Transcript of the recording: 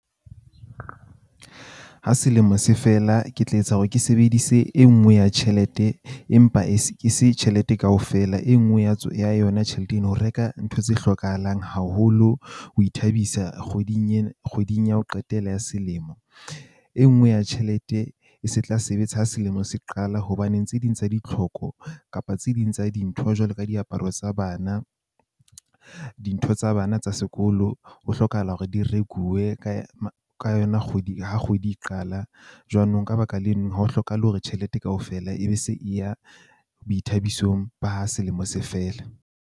Ha selemo se fela, ke tla etsa hore ke sebedise e nngwe ya tjhelete, empa e se ke se tjhelete kaofela, e nngwe ya yona tjhelete eno. Ho reka ntho tse hlokahalang haholo ho ithabisa kgweding ena kgweding ya ho qetela ya selemo. E nngwe ya tjhelete e se tla sebetsa ha selemo se qala hobaneng tse ding tsa ditlhoko kapa tse ding tsa dintho jwalo ka diaparo tsa bana, dintho tsa bana tsa sekolo ho hlokahala hore di rekuwe ka ka yona kgwedi ha kgwedi e qala. Jwanong ka baka leno, ha ho hlokahale hore tjhelete kaofela e be se e ya boithabisong ba ha selemo se fela.